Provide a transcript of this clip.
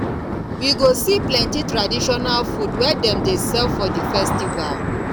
we go see plenty traditional food wey dem dey sell for di festival